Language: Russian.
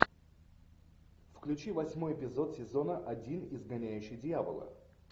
включи восьмой эпизод сезона один изгоняющий дьявола